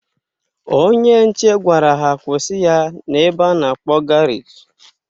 Onye nche gwara ha kwụsị ya na ebe a na-akpọ garaji